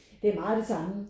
Det er meget det samme